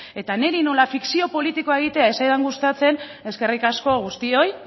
eta niri nola fikzio politikoa egitea ez zaidan gustatzen eskerrik asko guztioi